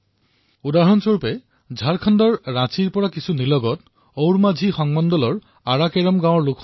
তেনে এটা ঘটনা দেখিবলৈ পোৱা গৈছে ঝাৰখণ্ডৰ ৰাঁচীৰ নিকটৱৰ্তী ওৰমানঝি ব্লকৰ আৰা কেৰাম গাঁৱত